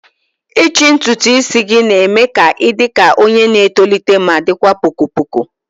ichi ntutu isi gị na-eme ka ị dị ka onye na-etolite ma dịkwa poko poko